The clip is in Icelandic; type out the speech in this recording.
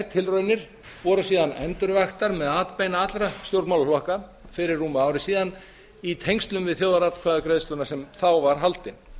þær tilraunir voru síðan endurvaktar með atbeina allra stjórnmálaflokka fyrir rúmu ári síðan í tengslum við þjóðaratkvæðagreiðsluna sem nú var haldin